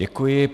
Děkuji.